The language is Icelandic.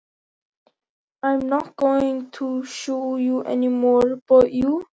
Ég ætla ekki að beita mér gegn neinum nema þér!